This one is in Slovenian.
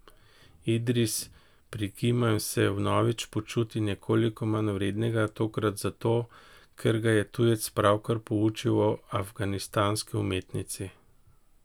Idris prikima in se vnovič počuti nekoliko manjvrednega, tokrat zato, ker ga je tujec pravkar poučil o afganistanski umetnici.